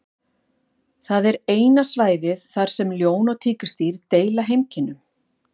Það er eina svæðið þar sem ljón og tígrisdýr deila heimkynnum.